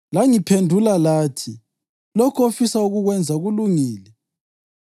Langiphendula lathi, ‘Lokho ofisa ukukwenza kulungile.’